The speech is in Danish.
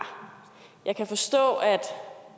jeg kan forstå at